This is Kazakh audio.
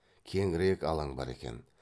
кеңірек алаң бар екен